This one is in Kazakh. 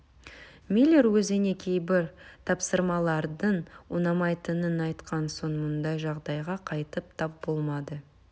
миллер өзіне кейбір тапсырмалардың ұнамайтынын айтқан соң мұндай жағдайға қайтып тап болмады